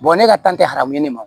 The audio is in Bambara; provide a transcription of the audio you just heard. ne ka kan tɛ haramu ne ma